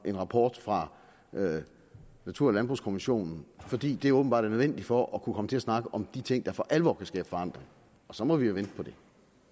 en rapport fra natur og landbrugskommissionen fordi det åbenbart er nødvendigt for at kunne komme til at snakke om de ting der for alvor kan skabe forandring og så må vi jo vente på det